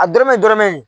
A dɔrɔmɛ dɔrɔmɛ